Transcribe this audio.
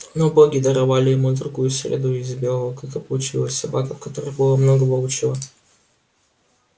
но боги даровали ему другую среду и из белого клыка получилась собака в которой было много волчьего